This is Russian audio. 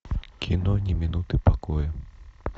кино ни минуты покоя